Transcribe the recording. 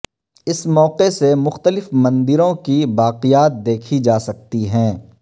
اس موقع سے مختلف مندروں کی باقیات دیکھی جا سکتی ہیں